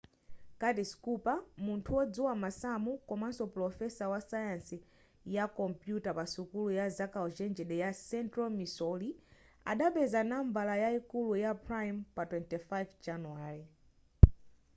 curtis cooper munthu wodziwa masamu komanso pulofesa wasayansi ya kompuyuta pa sukulu ya zaukachenjede ya central missouri adapeza number yayikulu ya prime pa 25 januwale